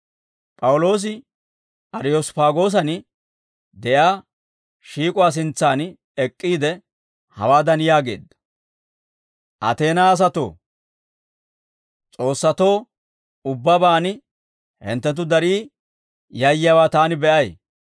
P'awuloosi Ariyosppaagoosan de'iyaa shiik'uwaa sintsan ek'k'iide, hawaadan yaageedda; «Ateenaa asatoo, s'oossatoo ubbabaan hinttenttu darii yayyiyaawaa taani be'ay.